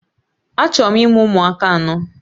Achọrọ m imụ ụmụaka anọ